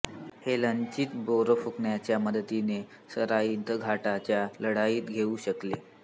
हे लचित बोरफुकनच्या मदतीने सराईघाटच्या लढाईत होऊ शकले